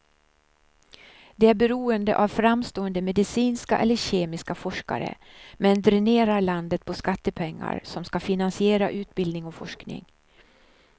Det är beroende av framstående medicinska eller kemiska forskare, men dränerar landet på skattepengar som ska finansiera utbildning och forskning.